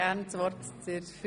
– Das ist der Fall.